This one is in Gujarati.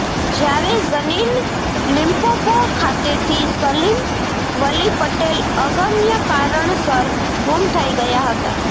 જયારે ઝનીન લિમ્પોપોે ખાતેથી સલીમ વલી પટેલ અગમ્ય કારણસર ગુમ થઈ ગયા હતા